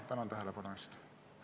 Tänan tähelepanu eest!